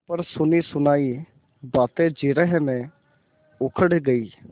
पर सुनीसुनायी बातें जिरह में उखड़ गयीं